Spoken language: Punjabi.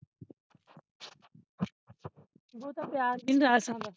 ਬਹੁਤਾ ਪਿਆਰ ਵੀ ਨਹੀਂ ਰਾਸ ਆਉਂਦਾ